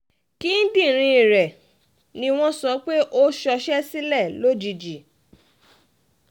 kíndìnrín rẹ̀ ni wọ́n sọ pé ó ṣọṣẹ́ sílẹ̀ lójijì